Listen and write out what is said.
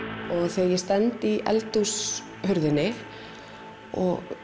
þegar ég stend í eldhúshurðinni og